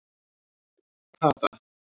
Tara